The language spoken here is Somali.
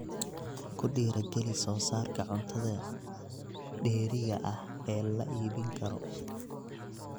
Ku dhiiri geli soosaarka cuntada dheeriga ah ee la iibin karo.